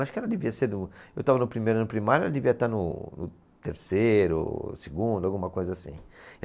Acho que ela devia ser do... Eu estava no primeiro ano primário, ela devia estar no, no terceiro, segundo, alguma coisa assim.